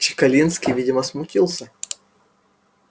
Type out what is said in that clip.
чекалинский видимо смутился